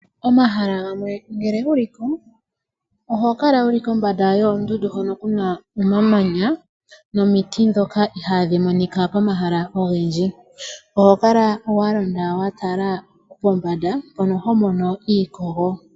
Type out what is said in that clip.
Komahala gamwe ngele wu li ko, oho kala wu li kombanda yoondundu hono ku na omamanya nomiti ndhoka ihaadhi monika komahala ogendji. Oho kala wa londa pombanda wa tala mpono ho mono iikogo.